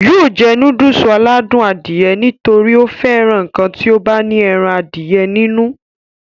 yóò jẹ núdùsì aládùn Adìẹ nítorí ó fẹ́ràn ǹkan tó bá ti ní ẹran Adìẹ nínú